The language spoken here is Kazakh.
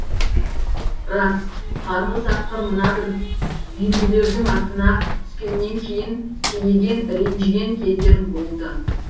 рас қарғыс атқыр мына бір үйінділердің артына түскеннен кейін кейіген ренжіген кездерім болды